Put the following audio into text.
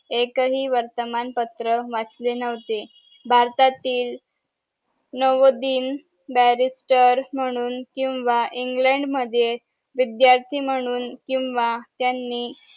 एकही वर्तमान पत्र वाचले नव्हते भारतातील नवोदीन बॅरिस्टर म्हूणन किंवा इंग्लंड मध्ये विध्यार्ती विध्यार्थी म्हूणन किंवा त्यांनी